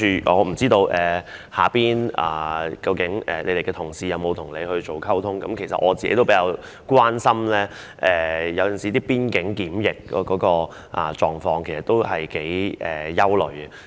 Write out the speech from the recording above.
我不知道她轄下的同事是否曾經與她溝通，其實我也很關心邊境檢疫的情況，對此我是有些憂慮的。